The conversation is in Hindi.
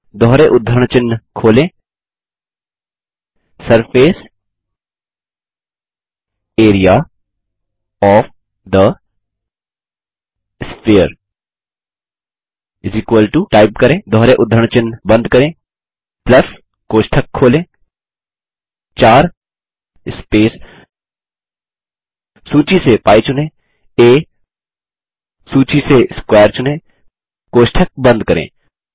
दोहरे उद्धरण चिन्ह खोलें surface area of the sphere type करें दोहरे उद्धरण चिन्ह बंद करें प्लस कोष्ठक खोलें 4 स्पेस सूची से π चुनें स्पेस आ सूची से स्क्वेयर चुनें कोष्ठक बंद करें